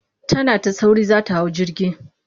Tana ta sauri za ta hau jirgi.